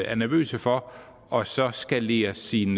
er nervøs for og så skalere sin